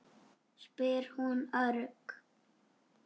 spyr hún örg.